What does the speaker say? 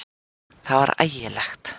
Það var ægilegt!